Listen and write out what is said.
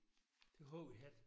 Det har vi haft